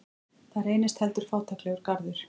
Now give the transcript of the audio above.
Það reynist heldur fátæklegur garður.